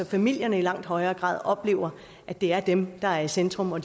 familierne i langt højere grad oplever at det er dem der er i centrum og